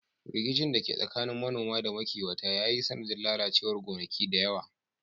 Rikicin da ke tsakanin manoma da makiwata ya yi sanadin lalacewar gonaki da yawa.